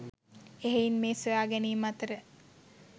එහෙයින් මේ සොයාගැනීම් අතර